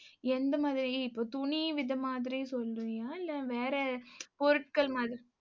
எந்த மாதிரி, இப்ப துணி வித மாதிரி சொல்றியா இல்ல வேற பொருட்கள் மாதிரி